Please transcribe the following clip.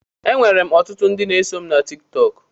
Enwerem ọtụtụ ndị so mụ na Tiktọk.